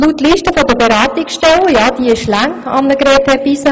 Ja, die Liste der Beratungsangebote ist lang, Grossrätin Hebeisen.